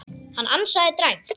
Hann ansaði dræmt.